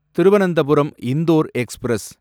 Thiruvananthapuram Indore express